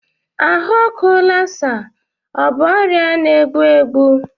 Ahụ ọkụ Lassa ọ bụ ọrịa na-egbu egbu?